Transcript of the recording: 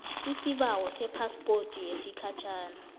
isibawo sephaspoti yesikhatjhana